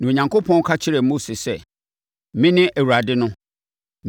Na Onyankopɔn ka kyerɛɛ Mose sɛ, “Mene Awurade no.